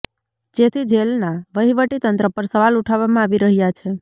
જેથી જેલના વહીવટી તંત્ર પર સવાલ ઉઠાવવામાં આવી રહ્યા છે